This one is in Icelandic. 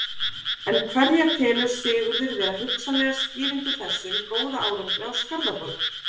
En hverja telur Sigurður vera hugsanlega skýringu þessum góða árangri á Skarðaborg?